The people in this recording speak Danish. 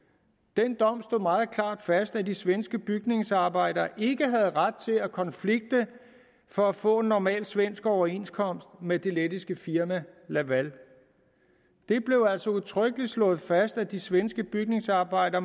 den dom slog meget klart fast at de svenske bygningsarbejdere ikke havde ret til at konflikte for at få en normal svensk overenskomst med det lettiske firma laval det blev altså udtrykkeligt slået fast at de svenske bygningsarbejdere